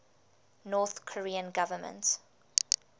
north korean government